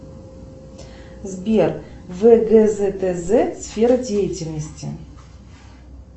сбер вгзтз сфера деятельности